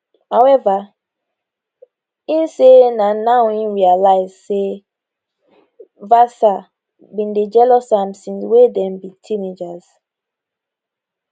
however im say na now im realise say vatsa bin dey jealous am since wey dem be teenagers